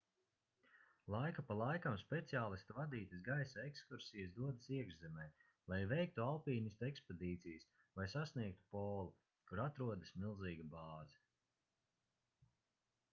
laiku pa laikam speciālistu vadītas gaisa ekskursijas dodas iekšzemē lai veiktu alpīnistu ekspedīcijas vai sasniegtu polu kur atrodas milzīga bāze